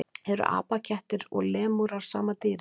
Eru apakettir og lemúrar sama dýrið?